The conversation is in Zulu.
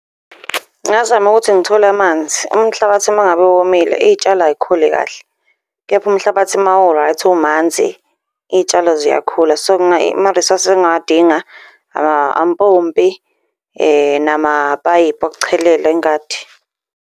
Ngingazama ukuthi ngithole amanzi. Umhlabathi uma ngabe womile iy'tshalo ay'khuli kahle, kepha umhlabathi uma u-right, umanzi iy'tshalo ziyakhula. So, ama-resources engingawadinga, ampompi namapayipi okuchelela ingadi.